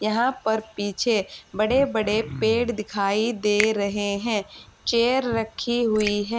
यहां पर पीछे बड़े बड़े पेड़ दिखाई दे रहे हैं चेयर रखी हुई हैं।